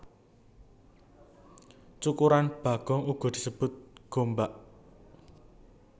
Cukuran bagong uga disebut gombak